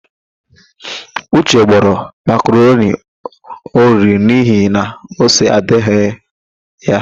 Uche gbọrọ makaroni oriri n'ihi na ose adịghị ya.